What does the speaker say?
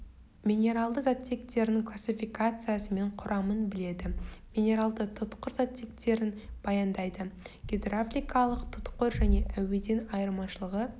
минералды заттектерінің классификациясы мен құрамын біледі минералды тұтқыр заттектерін баяндайды гидравликалық тұтқыр және әуеден айырмашылығы